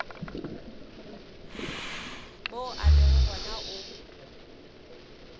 mo a lego gona o